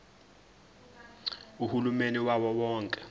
uhulumeni wawo wonke